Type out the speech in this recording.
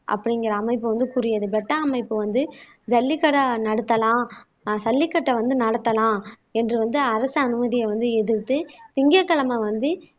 அப்படிங்கிற அமைப்பு வந்து கூறியது பெட்டா அமைப்பு வந்து ஜல்லிக்கட்டை நடத்தலாம் ஆஹ் சல்லிக்கட்டை வந்து நடத்தலாம் என்று வந்து அரசு அனுமதியை வந்து எதிர்த்து திங்கட்கிழமை வந்து